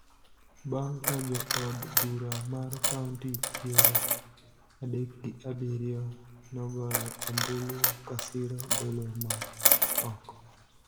bang� ka jo od bura mar kaonti piero adek gi abiriyo nogoyo ombulu ka siro golo mare oko,